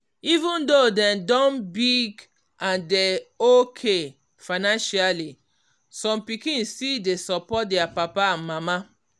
even though dem don big and dey okay financially some pikin still dey support their papa and mama.